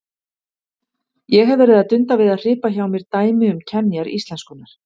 Ég hef verið að dunda við að hripa hjá mér dæmi um kenjar íslenskunnar.